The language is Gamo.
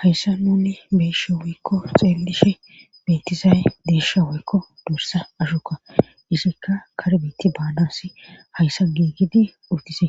hayssa nuni beyishshe woykko xeelishe beetizaye deysha woykko dorsa ashu Okka izikka karbeeti baanasi hayssan giigidi utisi